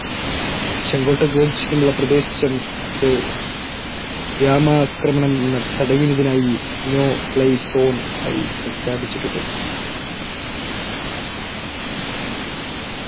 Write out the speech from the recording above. ചെങ്കോട്ടയ്ക്ക് ചുറ്റുമുള്ള പ്രദേശത്ത് വ്യോമാക്രമണം തടയുന്നതിനായി No-fly zone ആയി പ്രഖ്യാപിക്കപ്പെട്ടിട്ടുണ്ട്.